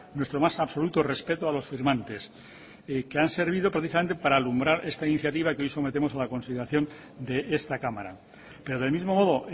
nuestro más absoluto respeto a los firmantes que han servido precisamente para alumbrar esta iniciativa y que hoy sometemos a la consideración de esta cámara pero del mismo modo